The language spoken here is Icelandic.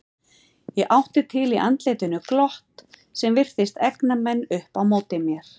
Ég átti til í andlitinu glott sem virtist egna menn upp á móti mér.